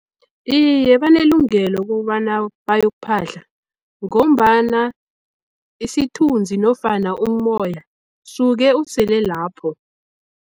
Iye, banelungelo kobana bayokuphahla, ngombana isithunzi nofana umoya suke usele lapho.